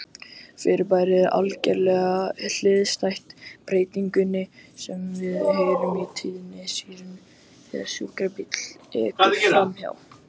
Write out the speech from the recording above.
Fyrirbærið er algerlega hliðstætt breytingunni sem við heyrum á tíðni sírenu þegar sjúkrabíll ekur framhjá.